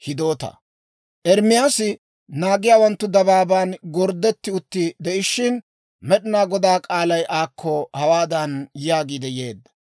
Ermaasi naagiyaawanttu dabaaban gorddetti utti de'ishshin, Med'inaa Godaa k'aalay aakko hawaadan yaagiidde yeedda;